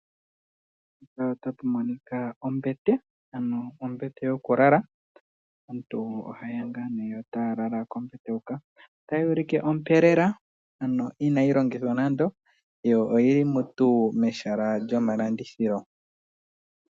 Mpaka otapu monika ombete, ano ombete yo ku lala. Aantu oha yeya ngaa nee, yo taya lala kombete hoka. Otayi ulike ompe lela, ano inayi longithwa nando, yo oyili mutual mehala lyo malandithilo.